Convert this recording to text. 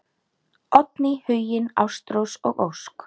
Oddný, Huginn, Ástrós og Ósk.